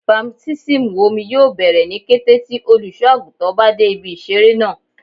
Baptismu omi yoo bẹrẹ ni kete ti oluso-aguntan ba de ibi isere naa